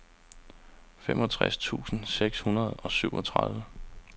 femogtres tusind seks hundrede og syvogtredive